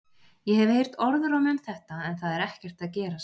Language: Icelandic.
Ég hef heyrt orðróm um þetta en það er ekkert að gerast.